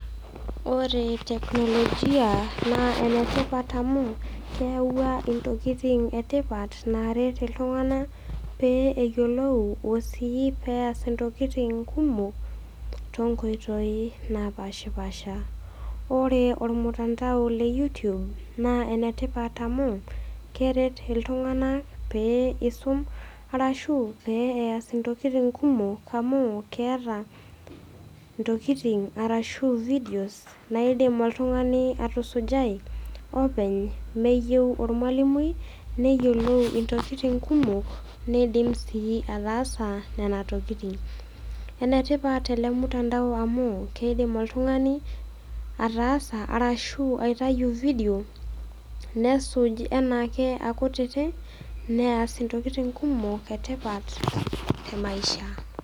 Ore teknolojia naa ene tipat amu keyauwaua intokin e tipat naaret iltung'ana pee eyiolou o sii peaas intokitin kumok, toonkoitoi napaashipasha. Ore olmutandao le YouTube naa enetipat amu, keret iltung'ana pee eisum, arashu pee eas intokitin kumok amu keata intokitin arashu vidios naidim oltung'ani atusujai openy meyou olmwalimui, neyolou intokitin kumok, neidim sii ataasa nena tokitin. Enetipat ele mutandao amu, keidim oltung'ani ataasa ashu aitayu vidio nesuj anaake akutiti, neas intokitin kumok e tipat e maisha.